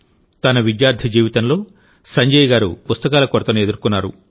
తన విద్యార్థి జీవితంలోసంజయ్ గారు మంచి పుస్తకాల కొరతను ఎదుర్కొన్నారు